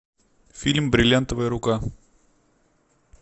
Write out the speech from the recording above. фильм бриллиантовая рука